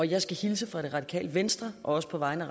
jeg skal hilse fra det radikale venstre og også på vegne